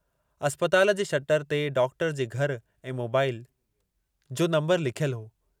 अस्पताल जे शटर ते डॉक्टर जे घर ऐं मोबाइल जो नंबरु लिखियलु हो।